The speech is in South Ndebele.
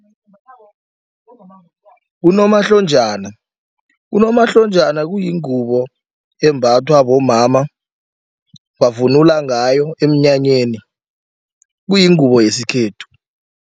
Unomahlonjana, unomahlonjana kuyingubo embathwa bomama bavunula ngayo emnyanyeni kuyingubo yesikhethu.